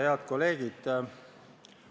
Head kolleegid!